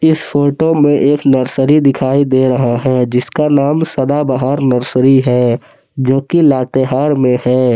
इस फोटो में एक नर्सरी दिखाई दे रहा हैं जिसका नाम सदाबहार नर्सरी है जो की लातेहार में है।